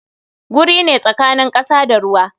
Guri ne tsakanin kasa da ruwa.